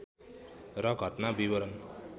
र घटना विवरण